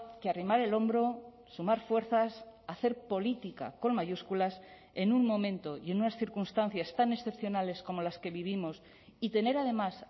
que arrimar el hombro sumar fuerzas hacer política con mayúsculas en un momento y en unas circunstancias tan excepcionales como las que vivimos y tener además